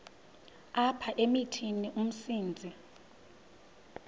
apha emithini umsintsi